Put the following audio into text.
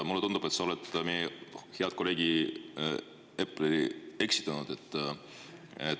Mulle tundub, et sa oled meie head kolleegi Eplerit eksitanud.